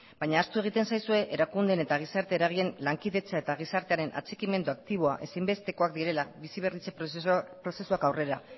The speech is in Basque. baina ahaztu egiten zaizue erakundeen eta gizarte eragileen lankidetza eta gizartearen atxikimendu aktiboa ezinbestekoak direla bizi berritze prozesuak aurrera